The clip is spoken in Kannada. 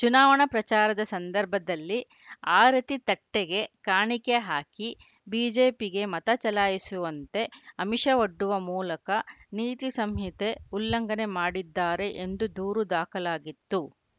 ಚುನಾವಣೆ ಪ್ರಚಾರದ ಸಂದರ್ಭದಲ್ಲಿ ಆರತಿ ತಟ್ಟೆಗೆ ಕಾಣಿಕೆ ಹಾಕಿ ಬಿಜೆಪಿಗೆ ಮತ ಚಲಾಯಿಸುವಂತೆ ಆಮಿಷವೊಡ್ಡುವ ಮೂಲಕ ನೀತಿ ಸಂಹಿತೆ ಉಲ್ಲಂಘನೆ ಮಾಡಿದ್ದಾರೆ ಎಂದು ದೂರು ದಾಖಲಾಗಿತ್ತು